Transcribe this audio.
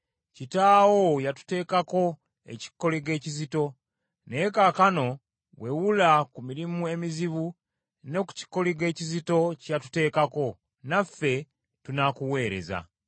“Kitaawo yatuteekako ekikoligo ekizito, naye kaakano wewula ku mirimu emizibu ne ku kikoligo ekizito kye yatuteekako, naffe tunaakuweereza.”